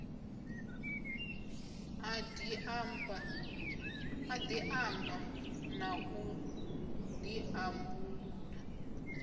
a diamba na u diambulula